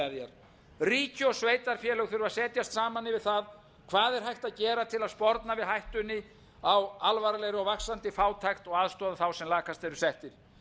staðar ríki og sveitarfélög þurfa að setjast saman yfir það hvað er hægt að gera til að sporna við hættunni á alvarlegri og vaxandi fátækt og aðstoða þá sem lakast eru settir